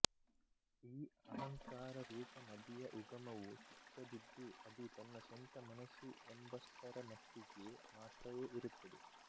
ಈ ಅಹಂಕಾರ ರೂಪ ನದಿಯ ಉಗಮವು ಚಿಕ್ಕದಿದ್ದು ಅದು ತನ್ನ ಸ್ವಂತ ಮನಸ್ಸು ಎಂಬಷ್ಟರಮಟ್ಟಿಗೆ ಮಾತ್ರವೇ ಇರುತ್ತದೆ